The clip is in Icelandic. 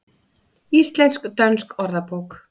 Íslensk-dönsk orðabók.